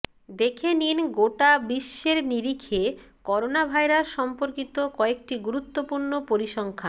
দেখে নিন গোটা বিশ্বের নিরিখে করোনাভাইরাস সম্পর্কিত কয়েকটি গুরুত্বপূর্ণ পরিসংখ্যান